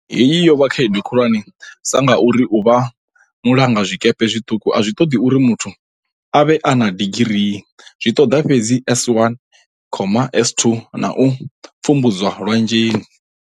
Heyi yo vha khaedu khulwane sa ngauri u vha mulanga zwikepe zwiṱuku a zwi ṱoḓi uri muthu a vhe na digirii, zwi ṱoḓa fhedzi S1, S2 na u pfumbudziwa lwanzheni.